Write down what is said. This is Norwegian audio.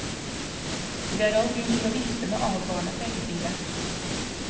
Det er all grunn til å vifte med advarende pekefingre.